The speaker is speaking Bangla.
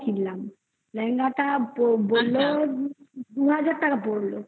লেহেঙ্গা কিনলাম। লেহেঙ্গাটা বলল দু হাজার টাকা পরলো।